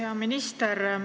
Hea minister!